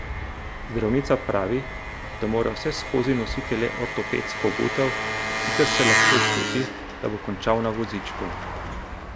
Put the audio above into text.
Zdravnica pravi, da mora vseskozi nositi le ortopedsko obutev, sicer se lahko zgodi, da bo končal na vozičku.